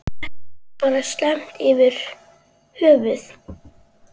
Er þetta ekki bara slæmt yfir höfuð?